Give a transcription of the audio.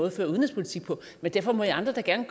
at føre udenrigspolitik på men derfor må i andre da gerne